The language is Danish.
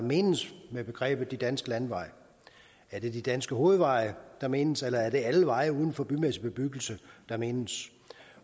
menes med begrebet de danske landeveje er det de danske hovedveje der menes eller er det alle veje uden for bymæssig bebyggelse der menes